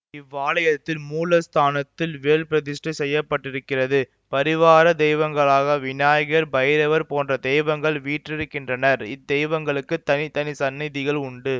இவ்வாலயத்தின் மூலஸ்தானத்தில் வேல் பிரதிஷ்டை செய்ய பட்டிருக்கிறது பரிவார தெய்வங்களாக வினாயகர் பைரவர் போன்ற தெய்வங்கள் வீற்றிருக்கின்றனர் இத்தெய்வங்களுக்குத் தனி தனி சந்நதிகள் உண்டு